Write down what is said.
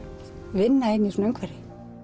vinna inn í svona umhverfi